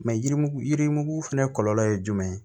Mɛ yirimugu yirimugu fɛnɛ kɔlɔlɔ ye jumɛn ye